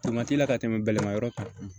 t'i la ka tɛmɛ bɛlɛma yɔrɔ kan